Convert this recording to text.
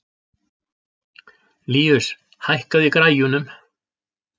Líus, hækkaðu í græjunum.